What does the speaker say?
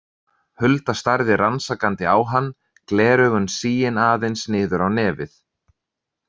Hulda starði rannsakandi á hann, gleraugun sigin aðeins niður á nefið.